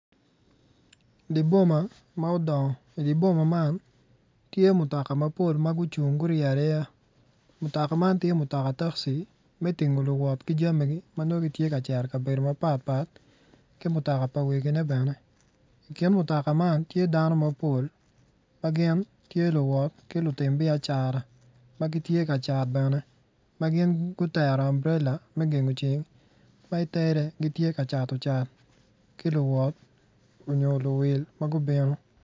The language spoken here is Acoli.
Di boma ma odongo di boma man tye mutoka mapol ma gucung ma gurye aryeya. Mutoka man tye mutoka takci me tingo luwot ki jamigi ma nongo gitye ka cito i kabedo mapat pat ki mutoka pa wegine bene i kin mutoka man tye dano mapol ma gin tye luwot ki lutim biacara ma gitye ka cat bene ma gin otero amburela me gengo ceng ma itere gitye ka cato cat ki luwot onyo luwil luwil ma gubino.